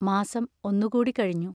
മാസം ഒന്നുകൂടി കഴിഞ്ഞു.